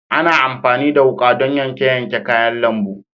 Ana amfani da wuƙa don yanke yanke kayan lambu.